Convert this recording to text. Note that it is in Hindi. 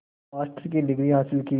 मास्टर की डिग्री हासिल की